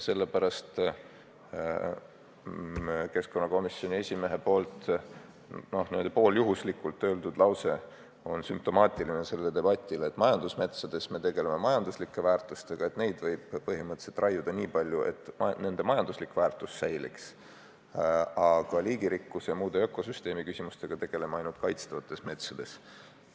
Keskkonnakomisjoni esimees ütles siin pooljuhuslikult lause, mis on sellele debatile sümptomaatiline: majandusmetsades me tegeleme majanduslike väärtustega ja neid võib põhimõtteliselt raiuda nii palju, et nende majanduslik väärtus säiliks, aga liigirikkuse ja muude ökosüsteemi küsimustega tegeleme ainult kaitstavates metsades.